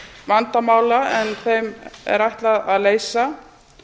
vandamála en þeim er ætlað að leysa